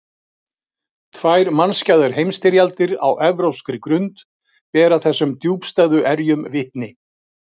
Tvær mannskæðar heimsstyrjaldir á evrópskri grund bera þessum djúpstæðu erjum vitni.